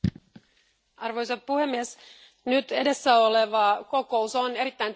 Arvoisa puhemies, edessä oleva kokous on erittäin tärkeä.